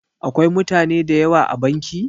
Akwai mutane da yawa a banki?